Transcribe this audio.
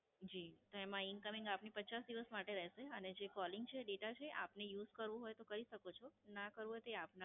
જી, એમાં Incoming આપને પચાસ દિવસ માટે રહેશે અને જે Calling છે Data છે આપને Use કરવો હોય તો કરી શકો છો. ના કરવો હોય તે આપના પર છે.